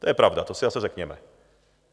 To je pravda, to si zase řekněme.